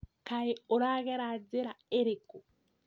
Kaĩ ũragerera njĩra ĩrĩkũ?